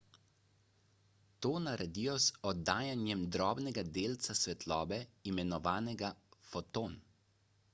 to naredijo z oddajanjem drobnega delca svetlobe imenovanega foton